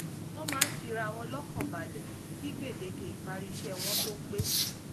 wọ́n máa ń fi ara wọn lọ́kàn balẹ̀ kí gbèdéke ìparí iṣẹ́ wọn tó pé